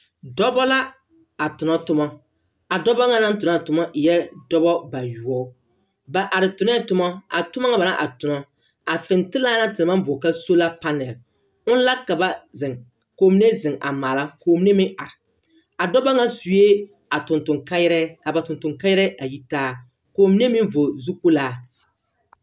Dɔbɔ la, a tona tomɔ. A dɔbɔ ŋa naŋ tona a toma eɛ dɔbɔ bayoɔ. Ba are tonɛɛ toma. A toma ŋa ba naŋ tona, a fentelaa na te naŋ maŋ boɔle ka sola panɛl, on la ka ba mine zeŋ, ka ba mine zeŋ a maala ka ba mine meŋ are. A dɔba ŋa sue a tontoŋkayarɛɛ kaa ba tontoŋkayɛrɛɛ a yi taa. Ka ba mine meŋ vɔgle zu-kpolaa.